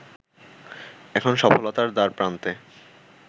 এখন সফলতার দ্বারপ্রান্তে